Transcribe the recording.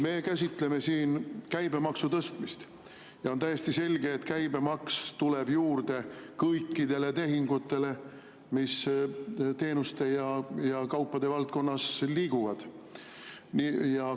Meie käsitleme siin käibemaksu tõstmist ja on täiesti selge, et käibemaks tuleb juurde kõikidele tehingutele, mis teenuste ja kaupade valdkonnas liiguvad.